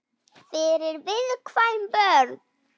Fyrir viðkvæm börn.